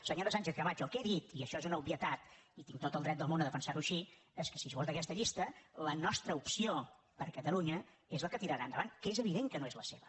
senyora sánchez camacho el que he dit i això és una obvietat i tinc tot el dret del món a defensar ho així és que si es vota aquesta llista la nostra opció per catalunya és la que tirarà endavant que és evident que no és la seva